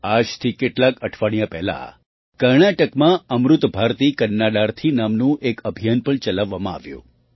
આજથી કેટલાંક અઠવાડિયાં પહેલાં કર્ણાટકમાં અમૃત ભારતી કન્નાડાર્થી નામનું એક અભિયાન પણ ચલાવવામાં આવ્યું